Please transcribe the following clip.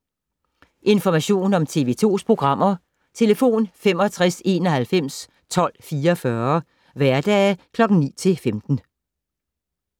Information om TV 2's programmer: 65 91 12 44, hverdage 9-15.